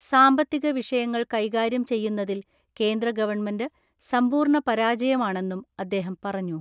സാമ്പത്തിക വിഷയങ്ങൾ കൈകാര്യം ചെയ്യുന്നതിൽ കേന്ദ്ര ഗവൺമെന്റ് സമ്പൂർണ്ണ പരാജയമാണെന്നും അദ്ദേഹം പറഞ്ഞു.